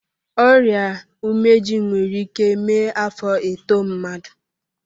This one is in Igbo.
Ọrịa umeji nwere ike mee afọ etoo mmadụ.